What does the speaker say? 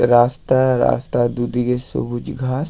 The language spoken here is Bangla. রাস্তায় রাস্তা দুদিকে সবুজ ঘাস।